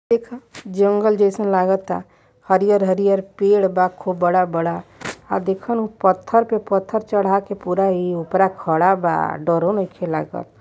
देखअ जंगल जैसन लागता हरियर हरियर पेड़ बा खूब बड़ा - बड़ा आ देखनू पत्थर पे पत्थर चढ़ा के पूरा ये उपर खड़ा बा डरो नइखे लागत।